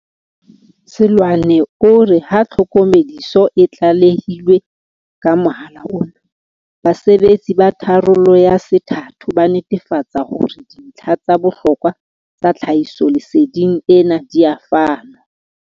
Seloane o re ha tlhokomediso e tlalehilwe ka mohala ona, basebetsi ba tharollo ya se thato ba netefatsa hore dintlha tsa bohlokwa tsa tlhahisolese ding ena di a fanwa.